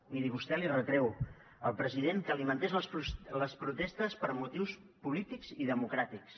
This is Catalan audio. miri vostè li retreu al president que alimentés les protestes per motius polítics i democràtics